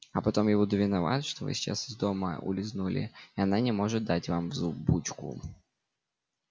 а потом я буду виноват что вы сейчас из дома улизнули и она не может дать вам взбучку